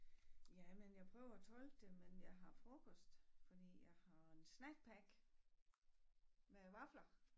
Ja men jeg prøver at tolke det men jeg har frokost fordi jeg har en snack pack med vafler